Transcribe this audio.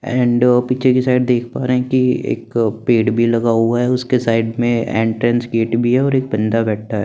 And पीछे की side में देख पा रहे हैं कि एक पेड़ भी लगा हुआ है उसके साइड में एंट्रेंस गेट भी है और एक बंदा बैठा हुआ है।